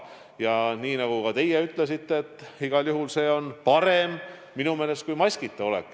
Ja nii nagu teiegi ütlesite, see on ka minu meelest igal juhul parem kui maskita olek.